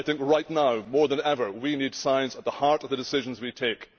Right now more than ever, we need science at the heart of the decisions we take.